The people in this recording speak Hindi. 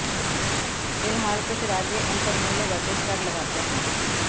फिलहाल कुछ राज्य इन पर मूल्यवर्धित कर लगाते हैं